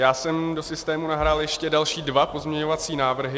Já jsem do systému nahrál ještě dva další pozměňovací návrhy.